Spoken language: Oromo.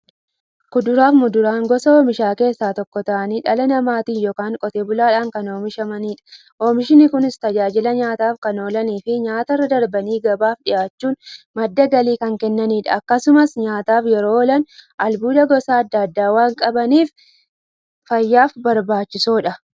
Kuduraafi muduraan gosa oomishaa keessaa tokko ta'anii, dhala namaatin yookiin Qotee bulaadhan kan oomishamaniidha. Oomishni Kunis, tajaajila nyaataf kan oolaniifi nyaatarra darbanii gabaaf dhiyaachuun madda galii kan kennaniidha. Akkasumas nyaataf yeroo oolan, albuuda gosa adda addaa waan qabaniif, fayyaaf barbaachisoodha.